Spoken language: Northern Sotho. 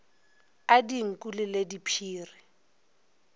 a dinku le le diphiri